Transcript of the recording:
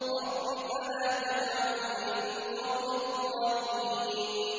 رَبِّ فَلَا تَجْعَلْنِي فِي الْقَوْمِ الظَّالِمِينَ